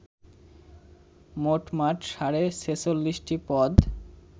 মোটমাট সাড়ে ছেচল্লিশটি পদ